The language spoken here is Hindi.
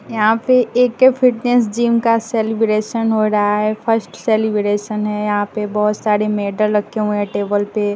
यहां पे ए_के फिटनेस जिम का सेलिब्रेशन हो रहा है फस्ट सेलिब्रेशन है यहां पे बहोत सारे मेडल रखे हुए हैं टेबल पे--